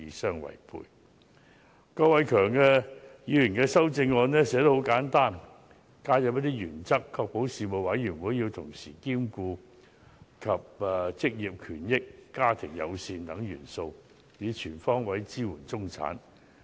郭偉强議員的修正案寫得很簡單，只加入一些原則，要求確保事務委員會要同時兼顧職業權益、家庭友善等元素，以全方位支援中產。